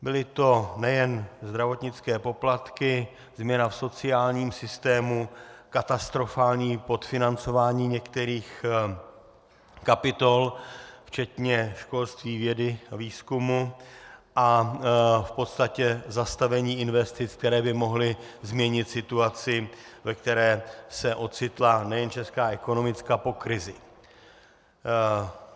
Byly to nejen zdravotnické poplatky, změna v sociálním systému, katastrofální podfinancování některých kapitol včetně školství, vědy, výzkumu a v podstatě zastavení investic, které by mohly změnit situaci, ve které se ocitla nejen česká ekonomika po krizi.